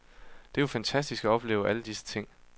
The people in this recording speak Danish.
Det er jo fantastisk at opleve alle disse ting.